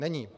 Není.